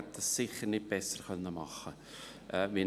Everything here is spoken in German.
Ich hätte das sicher nicht besser machen können.